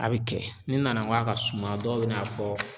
A be kɛ ni nana n go a ka suma dɔw be n'a fɔ